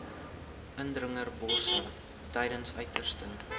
indringerbosse tydens uiterste